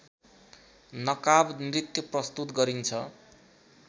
नकाबनृत्य प्रस्तुत गरिन्छ